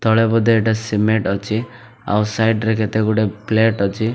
ତଳେ ବୋଧେ ଏଟା ସିମେଣ୍ଟ ଅଛି ଆଉ ସାଇଡ଼ ରେ କେତେ ଗୁଡେ ପ୍ଲେଟ୍ ଅଛି।